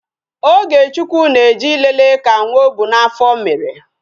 Ogechukwu na-eje ịlele ka nwa ọ bu n'afọ mere